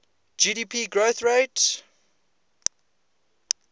gdp growth rate